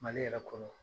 Mali yɛrɛ kɔnɔ